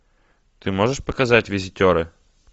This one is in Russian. ты можешь показать визитеры